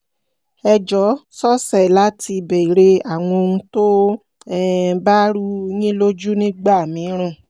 ẹ jọ̀ọ́ sọsẹ̀ láti béèrè àwọn ohun tó um bá rú u yín lójú nígbà mìíràn